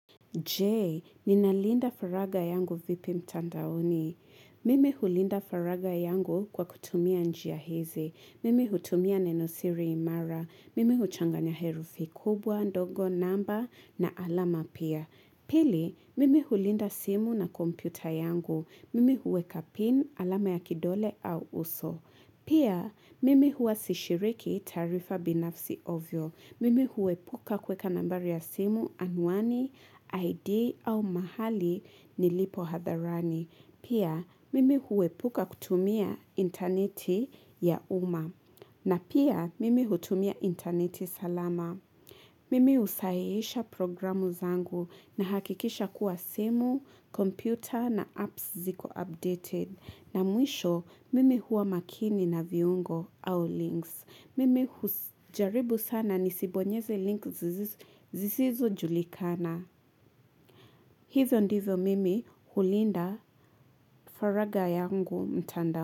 Je, ninalinda faragha yangu vipi mtandaoni? Mimi hulinda faragha yangu kwa kutumia njia hizi. Mimi hutumia nenosiri imara. Mimi huchanganya herufi kubwa, ndogo, namba na alama pia. Pili, mimi hulinda simu na kompyuta yangu. Mimi huweka pin, alama ya kidole au uso. Pia, mimi huwa sishiriki taarifa binafsi ovyo. Mimi huepuka kuweka nambari ya simu, anuani, ID au mahali nilipo hadharani. Pia, mimi huepuka kutumia interneti ya umma. Na pia, mimi hutumia interneti salama. Mimi usahihisha programu zangu. Nahakikisha kuwa simu, computer na apps ziko updated. Na mwisho, mimi huwa makini na viungo au links. Mimi hujaribu sana nisibonyeze link zisizojulikana. Hivyo ndivyo mimi hulinda faraga yangu mtandao.